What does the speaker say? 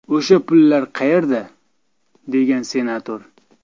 O‘sha pullar qayerda?”, degan senator.